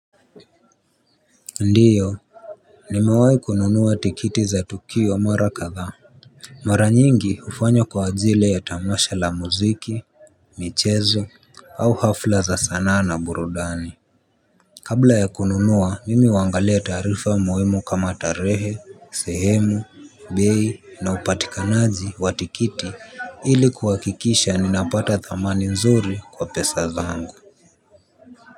Ndiyo nimewai kununua tikiti za tukio mara kathaa mara nyingi ufanya kwa ajili ya tamasha la muziki michezo au hafla za sana na burudani kabla ya kununua mimi huangalia taarifa muhimu kama tarehe sehemu bei na upatikanaji wa tikiti ili kuhakikisha ninapata thamani nzuri kwa pesa zangu. Kwa hivyo.